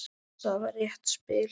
Það var létt spil.